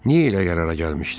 Niyə elə qərara gəlmişdim?